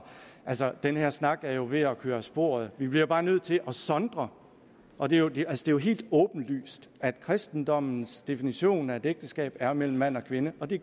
altså den her snak er jo ved at køre af sporet vi bliver bare nødt til at sondre og det er jo helt åbenlyst at kristendommens definition af et ægteskab er mellem mand og kvinde og det